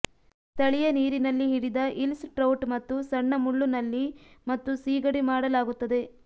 ಸ್ಥಳೀಯ ನೀರಿನಲ್ಲಿ ಹಿಡಿದ ಇಲ್ಸ್ ಟ್ರೌಟ್ ಮತ್ತು ಸಣ್ಣ ಮುಳ್ಳು ನಳ್ಳಿ ಮತ್ತು ಸೀಗಡಿ ಮಾಡಲಾಗುತ್ತದೆ